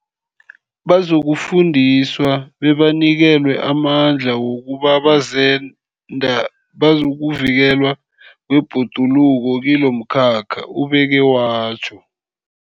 Bazokufundiswa bebanikelwe amandla wokuba bazenda bokuvikelwa kwebhoduluko kilomkhakha, ubeke watjho.